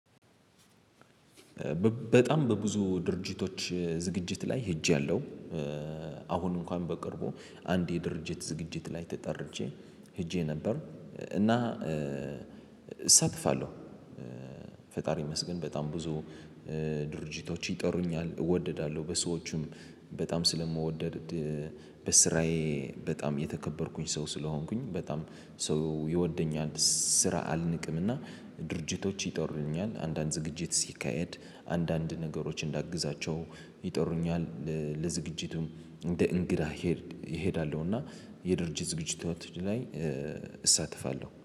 በጣም በብዙ ድርጅቶች ዝግጅት ላይ ሄጃለሁ። አሁን እንኳን በቅርቡ አንድ የድርጅት ዝግጅት ላይ ተጠርቼ ሄጄ ነበር። እና እሳተፋለሁ። ፈጣሪ ይመስገን በጣም ብዙ ድርጅቶች ይጠሩኛል እወደዳለሁ። በሰዎቹም በጣም ስለምወደድ። በስራዬ በጣም የተከበርኩኝ ሰው ስለሆንኩኝ በጣም ሰው ይወደኛል። ስራ አልንቅምና ድርጅቶች ይጠሩኛል አንዳንድ ዝግጅት ሲካሄድ አንዳንድ ነገሮች እንዳግዛቸው ይጠሩኛል። ለዝግጅቱም እንደ እንግዳ ይሄድ እሄዳለሁ። እና የድርጅት ዝግጅት ላይ እሳተፋለሁ